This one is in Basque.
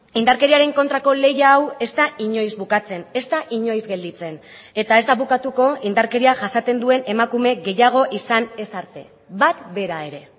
indarkeriaren kontrako lehia hau ez da inoiz bukatzen ez da inoiz gelditzen eta ez da bukatuko indarkeria jasaten duen emakume gehiago izan ez arte bat bera ere